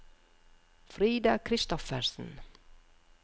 Frida Christoffersen